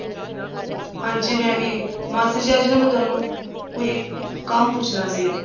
ਹਾਂਜੀ ਮੈਂ ਵੀ ਮਾਸੀ ਜੀ ਅੱਜ ਨਾ ਮੈਂ ਤੁਹਾਨੂੰ ਕੋਈ ਕੰਮ ਪੁੱਛਣਾ ਸੀ